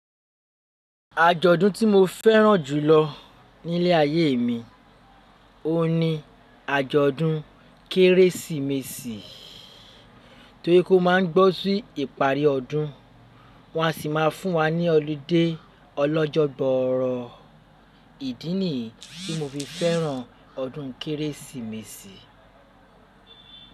Àjọ̀dún tí mo fẹ́ràn jùlọ nílé ayé mi òun ni àjọ̀dún Kérésìmesì torí pé ó máa ń gbó sí ìparí ọdún wọn a sì má fún wa ní ọludé ọlọ́jọ̀ gboọrọ ìdí nìyí tí mo fi fẹ́ràn ọdún Kérésìmesì.